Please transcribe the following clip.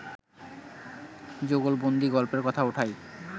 যুগলবন্দী গল্পের কথা ওঠাই